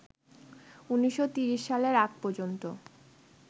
১৯৩০ সালের আগ পর্যন্ত